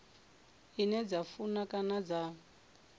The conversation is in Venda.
ine dza funa kana dza